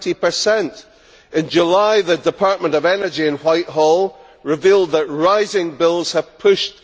20. In July the Department of Energy in Whitehall revealed that rising bills have pushed